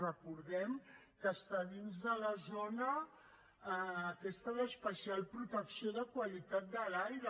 recordem que està dins de la zona aquesta d’especial protecció de qualitat de l’aire